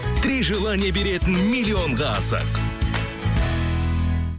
три желания беретін миллионға асық